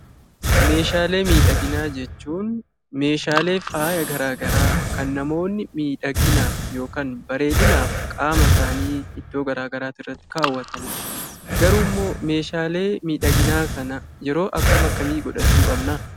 Meeshaalee miidhaginaa jechuun meeshaalee faayya garaa garaa kan namoonni miidhaginaaf yookiin bareedinaaf qaama isaanii iddoo garaa garaa irratti kaawwatanii dha. Garuu immoo meeshaalee miidhaginaa kana yeroo akka akkamii godhachuu qabnaa?